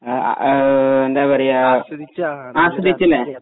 ആ ആ എന്താ പറയുക അസ്വദിച്ചല്ലേ